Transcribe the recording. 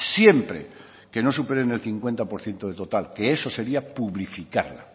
siempre que no superen el cincuenta por ciento del total que eso sería publificarla